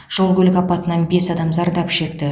жол көлік апатынан бес адам зардап шекті